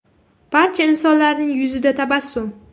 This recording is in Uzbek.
Barcha insonlarning yuzida tabassum.